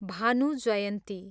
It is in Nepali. भानु जयन्ती